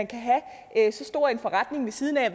kan have en så stor forretning ved siden af